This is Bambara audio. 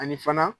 Ani fana